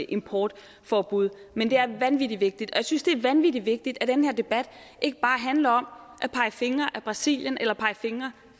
importforbud men det er vanvittig vigtigt og jeg synes det er vanvittig vigtigt at den her debat ikke bare handler om at pege fingre af brasilien eller pege fingre